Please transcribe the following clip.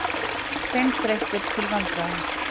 Seinþreyttir til vandræða.